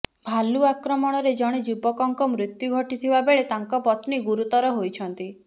ଭାଲୁ ଆକ୍ରମଣରେ ଜଣେ ଯୁବକଙ୍କ ମୃତ୍ୟୁ ଘଟିଥିବା ବେଳେ ତାଙ୍କ ପତ୍ନୀ ଗୁରୁତର ହୋଇଛନ୍ତି